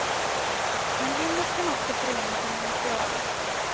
Men limmet kan också förena sig med materialet.